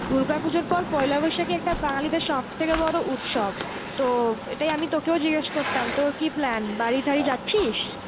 দুর্গাপুজোর পর পয়লা বৈশাখ ই একটা বাঙালিদের সবথেকে বড় উৎসব তো এটাই আমি তোকেও জিগ্গেস করতাম তোর কি plan বাড়ি ঠারি যাচ্ছিস?